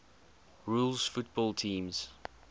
rules football teams